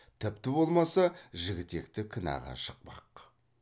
тіпті болмаса жігітекті кінәға жықпақ